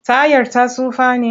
Tayar ta tsufa ne?